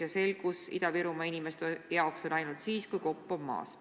Ja selgus Ida-Virumaa inimeste jaoks on ainult siis, kui kopp on maas.